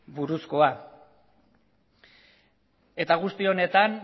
buruzkoa eta guzti honetan